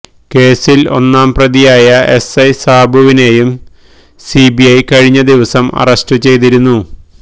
കേസില് ഒന്നാം പ്രതിയായ എസ്് ഐ സാബുവിനെയും സിബി ഐ കഴിഞ്ഞ ദിവസം അറസ്റ്റു ചെയ്തിരുന്നു